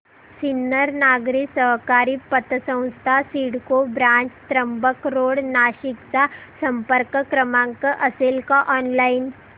Sinnar Nagari Sahakari Patsanstha CIDCO branch Trimbak road Nashik चा संपर्क क्रमांक असेल का ऑनलाइन